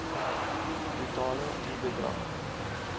totale i bedrag